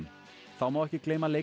þá má ekki gleyma